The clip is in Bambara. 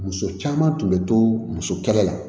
Muso caman tun bɛ to muso kɛnɛ la